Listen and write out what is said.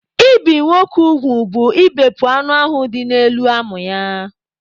Ibi nwoke ugwu bụ ịbepụ anụ ahụ dị n'elu amụ ya.